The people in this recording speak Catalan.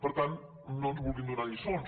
per tant no ens vulguin donar lliçons